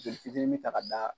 Joli fitinin ta ka da.